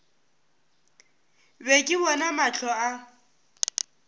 be ke bona mahlo a